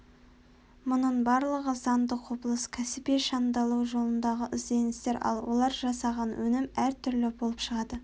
мұның барлығы заңды құбылыс кәсіби шыңдалу жолындағы ізденістер ал олар жасаған өнім әр түрлі болып шығады